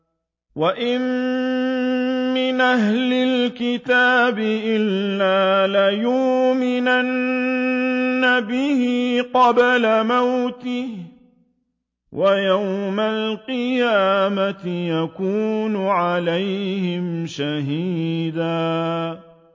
وَإِن مِّنْ أَهْلِ الْكِتَابِ إِلَّا لَيُؤْمِنَنَّ بِهِ قَبْلَ مَوْتِهِ ۖ وَيَوْمَ الْقِيَامَةِ يَكُونُ عَلَيْهِمْ شَهِيدًا